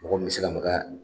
Mɔgɔ min bɛ se ka maka